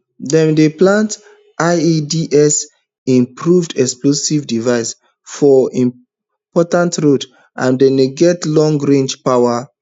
dem dey plant ieds improved explosive devices for important roads and dem get longrange power